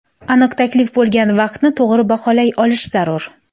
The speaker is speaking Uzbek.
Aniq taklif bo‘lgan vaqtni to‘g‘ri baholay olish zarur.